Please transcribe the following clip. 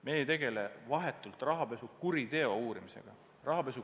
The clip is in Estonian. Me ei tegele vahetult rahapesukuriteo uurimisega.